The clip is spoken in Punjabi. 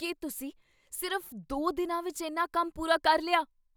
ਕੀ, ਤੁਸੀਂ ਸਿਰਫ਼ ਦੋ ਦਿਨਾਂ ਵਿੱਚ ਇੰਨਾ ਕੰਮ ਪੂਰਾ ਕਰ ਲਿਆ?